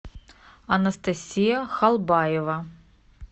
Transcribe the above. анастасия халбаева